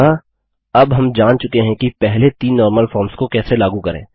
अतः अब हम जान चुके हैं कि पहले तीन नॉर्मल फॉर्म्स को कैसे लागू करें